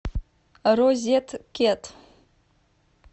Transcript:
розеткед